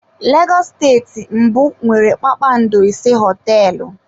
Lagos bụ steeti mbụ nwere kpakpando ise hoteelu.